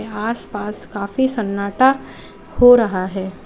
आस पास काफी सन्नाटा हो रहा है।